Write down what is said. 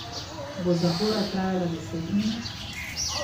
Bo zapora trajala deset minut?